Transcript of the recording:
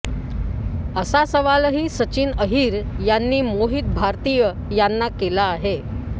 असा सवालही सचिन अहिर यांनी मोहित भारतीय यांना केला आहे